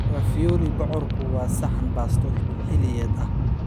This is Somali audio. Ravioli bocorku waa saxan baasto xilliyeed ah.